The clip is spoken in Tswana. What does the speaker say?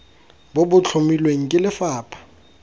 bo bo tlhomilweng ke lefapha